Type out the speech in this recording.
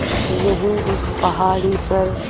यहीं उस पहाड़ी पर